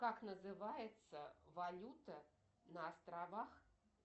как называется валюта на островах